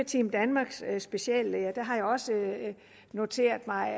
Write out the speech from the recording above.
team danmarks speciallæger har jeg også noteret mig